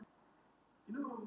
Þú gerir það ekki.